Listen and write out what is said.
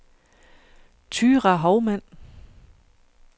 Thyra Houmann